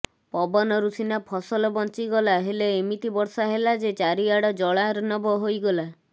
ପବନରୁ ସିନା ଫସଲ ବଞ୍ଚିଗଲା ହେଲେ ଏମିତି ବର୍ଷା ହେଲା ଯେ ଚାରିଆଡ଼ ଜଳାର୍ଣ୍ଣବ ହୋଇଗଲା